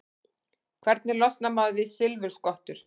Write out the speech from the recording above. Hvernig losnar maður við silfurskottur?